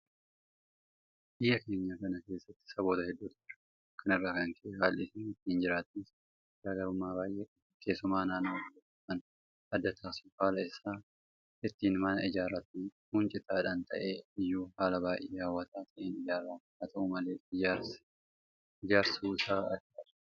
Biyya keenya kana keessa saboota hedduutu jiraata. Kana irraa kan ka'e haalli isaan ittiin jiraatanis garaa garummaa baay'ee qaba. Keessumaa naannoo tokko kan adda taasisu haala isaan ittiin mana ijaarratanidha. Kun cutaadhumaan ta'ee iyyuu haala baay'ee hawwataa ta'een ijaarama. Haata'u malee ijaarsu isaa addadha.